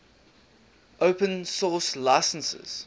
open source licenses